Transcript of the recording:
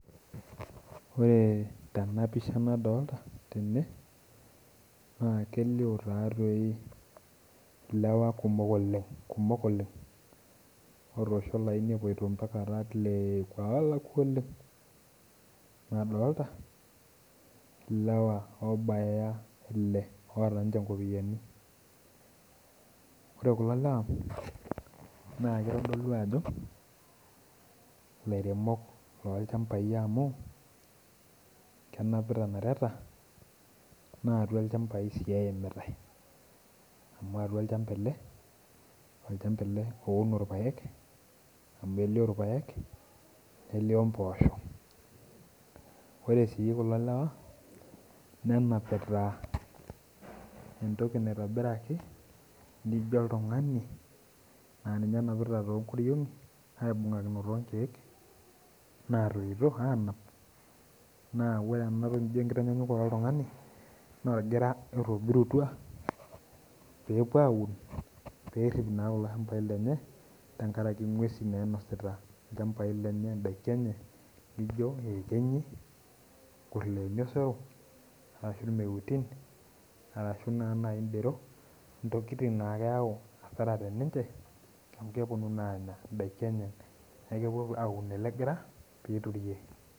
Ore tenapisha nadolta tene, na kelio tatoi ilewa kumok oleng, kumok oleng otosho olaini epoito mpaka arat leekua olakua oleng. Nadolta ilewa obaya ile oota nche nkopiyiani. Ore kulo lewa, na kitodolu ajo lairemok lolchambai amu, kenapita nareta natua ilchambai si eimitai. Amu atua olchamba ele, olchamba ele auno irpaek, amu elio irpaek, nelio mpoosho. Ore si kulo lewa, nenapita entoki naitobiraki nijo oltung'ani, na ninye enapita tongoriong'i, aibung'akino tonkeek, natunyuto anap, na ore enatoki nijo enkitanyanyukoto oltung'ani, na orgira itobirutua, pepuo aun perrip naa kulo shambai lenye, tenkaraki ng'uesin nainosita ilchambai lenye idaiki enye, lijo iekenyi, nkuriani osero, ashu irmeuti, arashu naa nai dero, intokiting nakeu asara teninche, amu keponu naa anya idaiki enye. Neku kepuo aun ele gira, piturie.